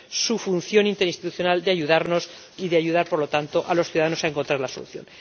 su función interinstitucional de ayudarnos y de ayudar, por lo tanto, a los ciudadanos a encontrar la solución.